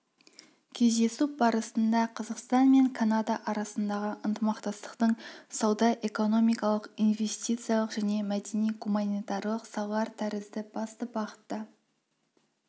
кездесу барысында қазақстан мен канада арасындағы ынтымақтастықтың сауда-экономикалық инвестициялық және мәдени-гуманитарлық салалар тәрізді басты бағыттарына қатысты